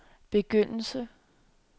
begyndelse